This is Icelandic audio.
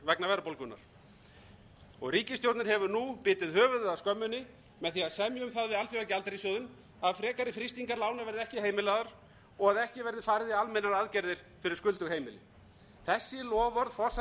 vegna verðbólgunnar ríkisstjórnin hefur nú bitið höfuðið af skömminni með því að semja um það við alþjóðagjaldeyrissjóðinn að frekari frystingar lána verði ekki heimilaðar og að ekki verði farið í almennar aðgerðir fyrir skuldug heimili þessi loforð forsætis og fjármálaráðherra sem þau hafa